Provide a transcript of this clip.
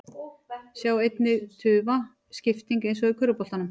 Sjá einnig: Tufa: Skipting eins og í körfuboltanum